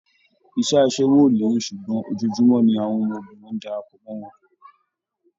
Iṣẹ́ aṣẹ́wó ò lérè ṣùgbọ́n ojoojúmọ́ ni àwọn ọmọbìnrin ń darapọ̀ mọ́ wọn